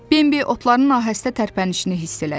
Bembi otların nahəstə tərpənişini hiss elədi.